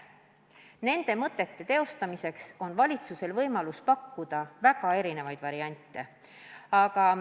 Nende mõtete teostamiseks on valitsusel võimalus pakkuda väga erinevaid variante.